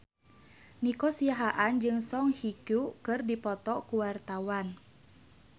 Nico Siahaan jeung Song Hye Kyo keur dipoto ku wartawan